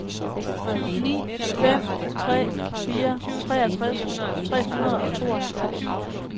ni fem tre fire treogtres tre hundrede og tooghalvfjerds